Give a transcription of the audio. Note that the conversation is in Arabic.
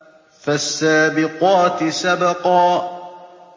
فَالسَّابِقَاتِ سَبْقًا